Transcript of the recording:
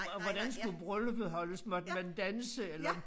Og hvordan skulle brylluppet holdes. Måtte man danse eller